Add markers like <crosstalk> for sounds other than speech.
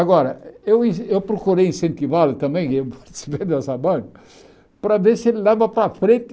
Agora, eu in eu procurei incentivá-lo também, <unintelligible> para ver se ele leva para frente.